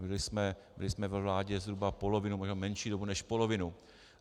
Byli jsme ve vládě zhruba polovinu, možná menší dobu než polovinu.